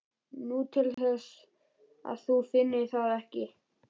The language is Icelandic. Nú, til þess að þú finnir það ekki.